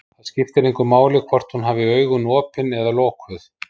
Það skipti engu máli hvort hún hafði augun opin eða lokuð.